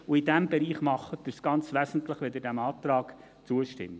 In diesem Bereich tun Sie dies aber ganz wesentlich, falls Sie diesem Antrag zustimmen.